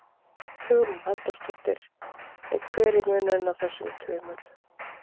Hugrún Halldórsdóttir: Og hver er munurinn á þessum tveimur?